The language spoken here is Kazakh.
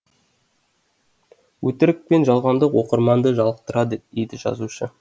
өтірік пен жалғандық оқырманды жалықтырады дейді жазушы